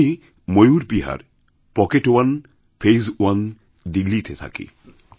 আমি Mayur Vihar pocket one phase one দিল্লিতে থাকি